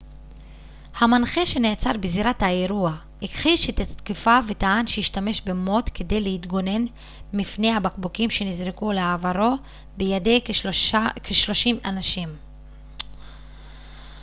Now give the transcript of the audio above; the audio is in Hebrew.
המנחה שנעצר בזירת האירוע הכחיש את התקיפה וטען שהשתמש במוט כדי להתגונן מפני הבקבוקים שנזרקו לעברו בידי כשלושים אנשים